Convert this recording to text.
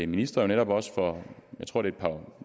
minister jo netop også for jeg tror det